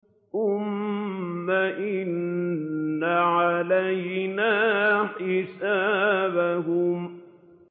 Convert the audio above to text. ثُمَّ إِنَّ عَلَيْنَا حِسَابَهُم